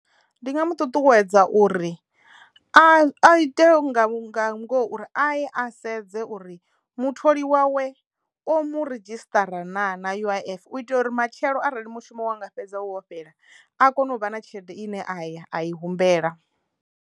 Ndi nga mu ṱuṱuwedza uri a a ite nga nga ngoho uri a ye a sedze uri mutholi wawe omu ridzhisṱara naa na U_I_F u itela uri matshelo arali mushumo wa nga fhedza so fhela a kone u vha na tshelede ine a ya a i humbela.